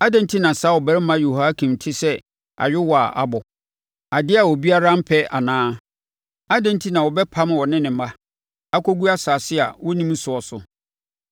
Adɛn enti na saa ɔbarima Yehoiakin te sɛ ayowaa a abɔ, adeɛ a obiara mpɛ anaa? Adɛn enti na wɔbɛpam ɔne ne mma, akɔgu asase a wɔnnim soɔ so?